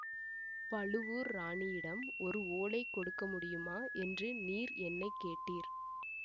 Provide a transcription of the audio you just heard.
பழுவூர் ராணியிடம் ஒரு ஓலை கொடுக்க முடியுமா என்று நீர் என்னை கேட்டீர்